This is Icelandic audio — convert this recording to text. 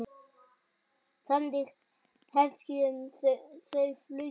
Þannig hefja þau flugið.